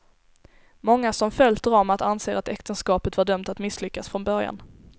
Många som följt dramat anser att äktenskapet var dömt att misslyckas från början.